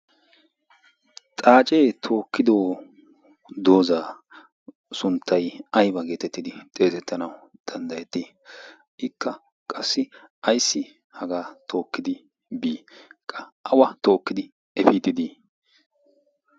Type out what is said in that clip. xaacee tookkido doozaa sunttay aiba geetettidi xeesettanawu danddayettii ikka qassi ayssi hagaa tookkidi bii qa awa tookkidi efiitidii